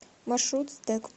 маршрут сдэк